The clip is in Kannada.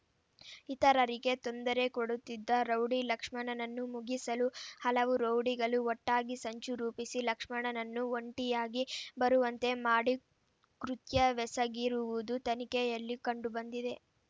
ಇತರರಿಗೆ ತೊಂದರೆ ಕೊಡುತ್ತಿದ್ದ ರೌಡಿ ಲಕ್ಷ್ಮಣನನ್ನು ಮುಗಿಸಲು ಹಲವು ರೌಡಿಗಳು ಒಟ್ಟಾಗಿ ಸಂಚು ರೂಪಿಸಿ ಲಕ್ಷ್ಮಣನನ್ನು ಒಂಟಿಯಾಗಿ ಬರುವಂತೆ ಮಾಡಿ ಕೃತ್ಯವೆಸಗಿರುವುದು ತನಿಖೆಯಲ್ಲಿ ಕಂಡುಬಂದಿದೆ